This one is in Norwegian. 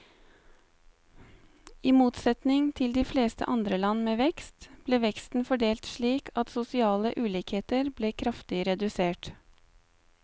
I motsetning til de fleste andre land med vekst, ble veksten fordelt slik at sosiale ulikheter ble kraftig redusert.